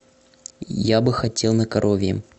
я бы хотел на коровьем